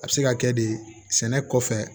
A bɛ se ka kɛ de sɛnɛ kɔfɛ